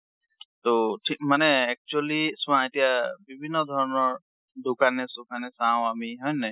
ট ঠিক মানে actually চোৱা এতিয়া বিভিন্ন ধৰনৰ দোকানে চুকানে চাওঁ আমি, হয় নাই?